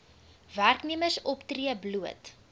werknemers optree bloot